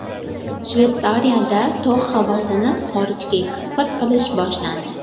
Shveysariyada tog‘ havosini xorijga eksport qilish boshlandi.